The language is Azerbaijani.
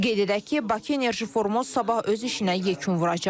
Qeyd edək ki, Bakı Enerji Forumu sabah öz işinə yekun vuracaq.